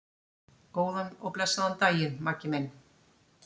Góðan og blessaðan daginn, Maggi minn.